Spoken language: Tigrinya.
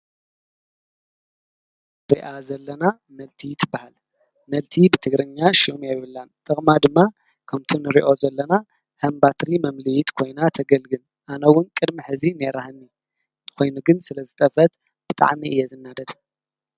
እዛ ንሪኣ ዘለና መልቲ ትባሃል፡፡ መልቲ ብትግርኛ ሽም የብላን ጥቕማ ድማ ከምቲ ንሪኦ ዘለና ከም ባትሪ መምልኢት ኮይና ተገልግል ኣነ ውን ቅድሚ ሕዚ ነይራትኒ ኮይኑ ግን ስለዝጠፈአት ብጣዕሚ እየ ዝናደድ።